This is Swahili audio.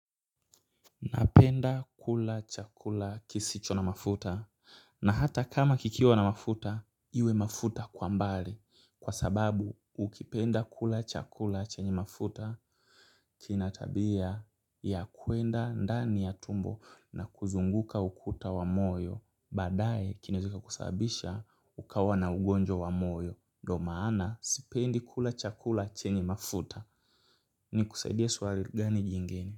Napenda kula chakula kisicho na mafuta na hata kama kikiwa na mafuta iwe mafuta kwa mbali kwa sababu ukipenda kula chakula chenye mafuta kina tabia ya kuenda ndani ya tumbo na kuzunguka ukuta wa moyo baadaye kinaweza kika kusababisha ukawa na ugonjwa wa moyo ndio maana sipendi kula chakula chenye mafuta ni kusaidie swali gani jingine.